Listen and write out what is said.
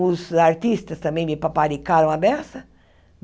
Os artistas também me paparicaram a beça.